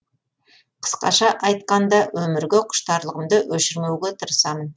қысқаша айтқанда өмірге құштарлығымды өшірмеуге тырысамын